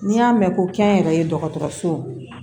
N'i y'a mɛn ko kɛnyɛrɛye dɔgɔtɔrɔsow